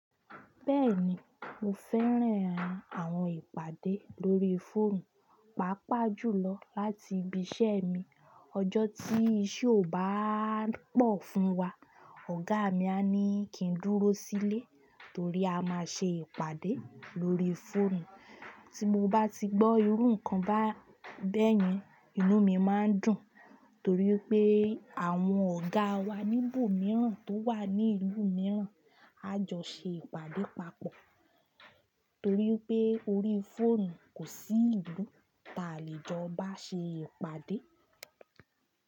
Bẹ́ẹ̀ni mo fẹ́ràn àwọn ìpàdé lórí fóònù, pàápàá jùlọ láti ibi iṣẹ́ mi. Ọjọ́ tí iṣẹ́ ò bá pọ̀ fún wa, ọ̀gá mi á ní kí n dúró sílé torí a máa ṣe ìpàdé lórí fóònù. Tí mo bá ti gbọ́ irú nǹkan ba--bẹ́yẹn, inú mi máa n dùn. Torí pé àwọn ọ̀gá wa níbò mìíràn tó wà ní ìlú mìíràn á jọ ṣe ìpàdé papọ̀. Torí pé orí fóònù kò sí ìlú ta lè jọ bá ṣe ìpàdé.